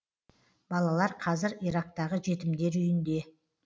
балалар қазір ирактағы жетімдер үйінде